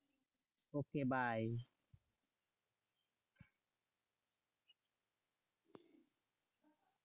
okay bye.